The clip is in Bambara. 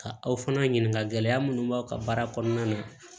Ka aw fana ɲininka gɛlɛya minnu b'aw ka baara kɔnɔna na